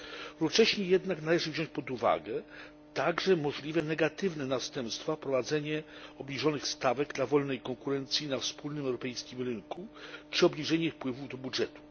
Równocześnie jednak należy wziąć pod uwagę także możliwe negatywne następstwa wprowadzenie obniżonych stawek dla wolnej konkurencji na wspólnym europejskim rynku czy obniżenie wpływów do budżetu.